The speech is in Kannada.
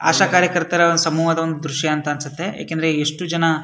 ಆಶಾ ಕಾರ್ಯಕರ್ತರ ಒಂದು ಸಮೂಹದ ದ್ರಶ್ಯ ಅಂತ ಅನ್ಸುತ್ತೆ ಏಕೆಂದರೆ ಇಷ್ಟು ಜನ --